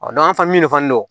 dɔn an fɛ min fana don